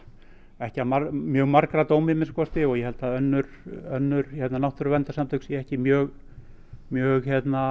ekki að mjög margra dómi að minnsta kosti og ég held að önnur önnur náttúruverndarsamtök séu ekki mjög mjög